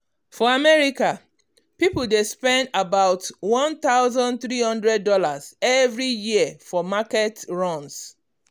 for america um people dey spend aboutone thousand three hundred dollars[um] every year for market runs.